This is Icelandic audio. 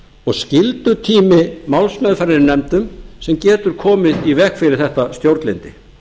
og skyldutími málsmeðferðar í nefndum sem getur komið í veg fyrir þetta stjórnlyndi